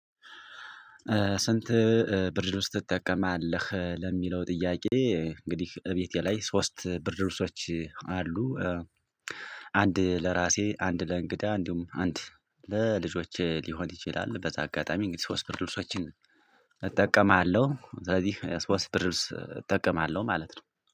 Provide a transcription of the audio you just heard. ስንት ብርድልብስ ትጠቀማለህ ለሚለው ጥያቄ? እንግዲህ እቤቴ ላይ ሶስት ብርድ ልብሶች አሉ። አንድ ለራሴ አንድ ለእንግዳ እንዲሁም አንድ ለልጆቼ ሊሆን ይችላል በዛ አጋጣሚ እንግዲህ ሶስት ብርድ ልብሶችን እጠቀማለሁ። ስለዚህ ሶስት ብርድ ልብስ እጠቀማለሁ ማለት ነው።